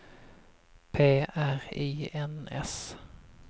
P R I N S